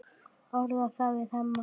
Orðar það við Hemma.